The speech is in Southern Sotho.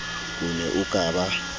o ne o ka ba